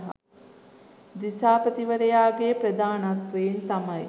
දිසාපතිවරයාගේ ප්‍රධානත්වයෙන් තමයි